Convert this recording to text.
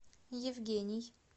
евгений